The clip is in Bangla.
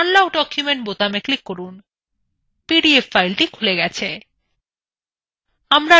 unlock document বোতামে click করুন পিডিএফ file খুলে গেছে